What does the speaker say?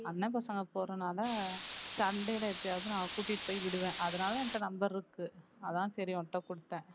அண்ணன் பசங்க போறதுனாலே சண்டேல எப்பயாவது நான் கூட்டிட்டு போய் விடுவேன் அதனாலே என்கிட்டே number இருக்கு அதான் சரி உன்கிட்டே கொடுத்தேன்